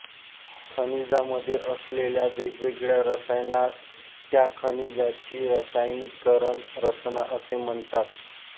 खनिजामध्ये असलेल्या वेगवेगळ्या रसायनास त्या खनिजाची रासायनिकन रचना असे म्हणतात